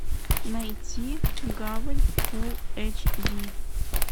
найти гавань фул эйч ди